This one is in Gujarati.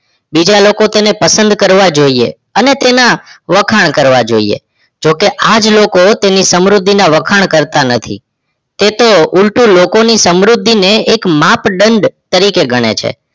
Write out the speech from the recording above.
બીજા લોકો તેને પસંદ કરવા જોયે અને તેના વખાણ કરવા જોયે જોકે આજ લોકો તેમની સમૃદ્ધિ ના વખાણ કરતા નથી. તે તો ઉલ્ટુ લોકો ની સમૃદ્ધિ ને એક માપદંડ તરીકે ગણે છે.